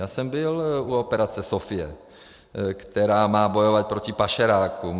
Já jsem byl u operace Sofie, která má bojovat proti pašerákům.